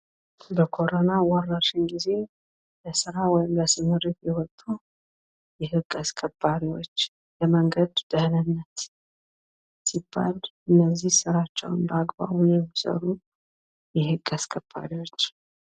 በኮረና ወረርሽኝ ጊዜ ለስራ ወይም ለስምሪት የወጡ የህግ አስከባሪዎች ፤ የመንገድ ደህንነት ሲባል እነዚህ ስራቸዉን በአግባቡ የሚሰሩ የህግ አስከባሪዎች።